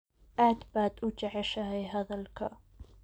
Aad baad u jeceshahay hadalka